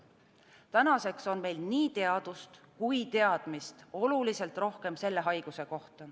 Tänaseks on meil selle haiguse kohta nii teadust kui ka teadmist oluliselt rohkem.